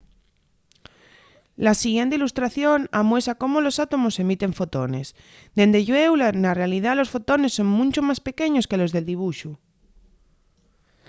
la siguiente ilustración amuesa cómo los átomos emiten fotones dende llueu na realidá los fotones son muncho más pequeños que los del dibuxu